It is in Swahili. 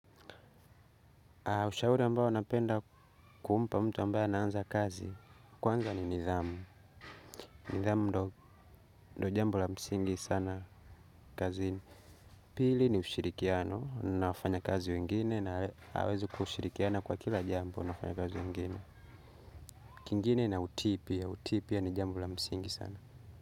Ushauri ambao napenda kuumpa mtu ambao anaanza kazi kwanza ni nidhamu. Nidhamu ndo jambo la msingi sana kazini. Pili ni ushirikiano na wafanya kazi wengine na aweze kushirikiana kwa kila jambo na wafanya kazi wengine. Kingine na utipia utipia ni jambo la msingi sana.